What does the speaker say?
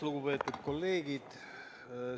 Lugupeetud kolleegid!